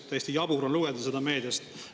Täiesti jabur on lugeda seda meediast.